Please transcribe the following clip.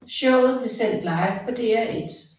Showet blev sendt live på DR1